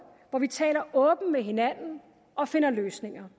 hvor vi taler åbent med hinanden og finder løsninger